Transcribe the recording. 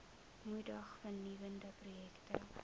moedig vernuwende projekte